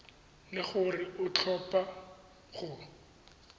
le gore o tlhopha go